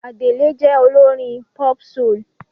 Adele jẹ́ olórin pop-soul.